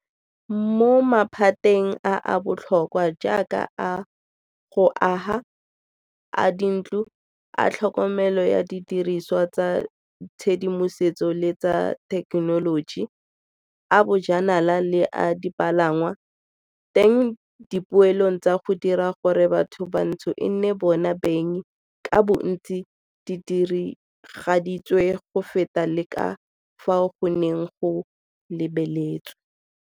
Mo maphateng a a botlhokwa a a jaaka a go aga, a dintlo, a tlhokomelo ya didirisiwa tsa tshedimosetso le tsa thekenoloji, a bojanala le a dipalangwa, teng dipeelo tsa go dira gore batho bantsho e nne bona beng ka bontsi di diragaditswe go feta le ka fao go neng go lebeletswe.